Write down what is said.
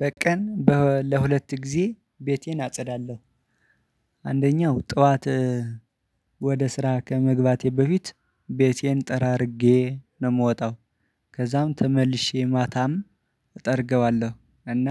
በቀን በ ለሁለት ጊዜ ቤቴን አጸዳለሁ። አንደኛው ጠዋትወደ ስራ ከመግባቴ በፊት ቤቴን ጠራርጌ ነው ምወጣው። ከዛም ተመልሼ ማታም እጠርገዋለሁ። እና